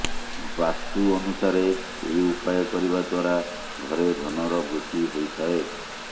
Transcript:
ବାସ୍ତୁ ଅନୁସାରେ ଏହି ଉପାୟ କରିବା ଦ୍ୱାରା ଘରେ ଧନ ର ବୃଦ୍ଧି ହୋଇଥାଏ